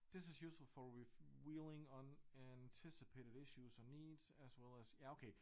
This is useful for revealing unanticipated issues or needs as well as ja okay